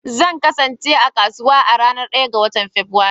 Zan kasance a kasuwa a ranar 1 ga Fabrairu.